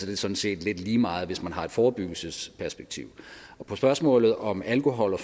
det sådan set lidt lige meget hvis man har et forebyggelsesperspektiv på spørgsmålet om alkohol og